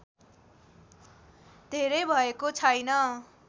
धेरै भएको छैन